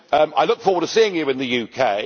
I look forward to seeing you in the